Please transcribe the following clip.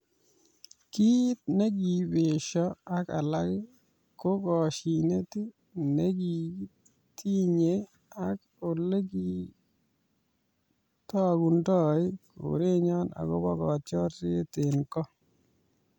"Kiit nekiibesho ak alak ko koshinet ne kikitinyei ak olekitokundoi kerenyo agobo kotiorset eng ko.